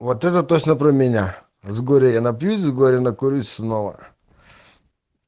вот это точно про меня с горя я напьюсь с горя накурюсь снова